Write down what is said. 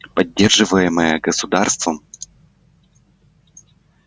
поддерживаемое государством